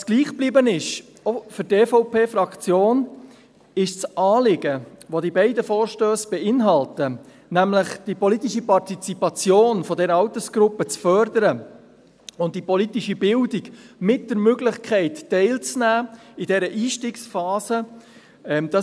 Was auch für die EVP-Fraktion gleich geblieben ist, ist das Anliegen, welches die beiden Vorstösse beinhalten, nämlich die politische Partizipation dieser Altersgruppe zu fördern sowie die politische Bildung, mit der Möglichkeit, während dieser Einstiegsphase teilzunehmen.